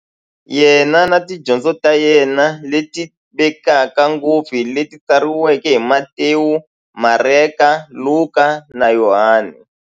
Yena na tidyondzo ta yena, leti tivekaka ngopfu hi leti tsariweke hi-Matewu, Mareka, Luka, na Yohani.